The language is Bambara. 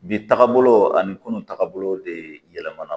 Bi tagabolo ani kunun tagabolo de yɛlɛmana